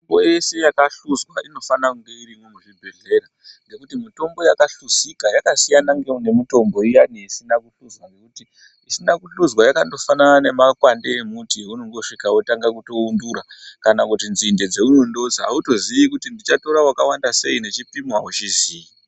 Mutombo yese yaka hluzwa ino fanira kunga irimwo mu zvibhedhlera ngekuti mutombo yaka hluzika yaka siyana ne mutombo iyani isina ku hluza ngekuti isina ku hluzwa yakando fanana ne makwande embuti aunongo svika wotanga kuto wundura kana kuti nzinde dzaunozi auto zii kuti ndicha tora waka wanda sei nechi pimo awu chiziyi.